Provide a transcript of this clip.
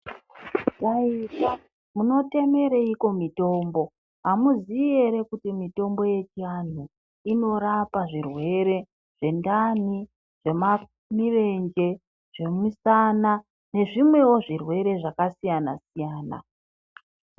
Taita, muno temereiko mitombo, amuziii ere kuti mitombo yechianhu ino rapa zvirwere zvendani, zvemirenje, zvemisana nezvimwewo zvirwere zvakasiyana siyana.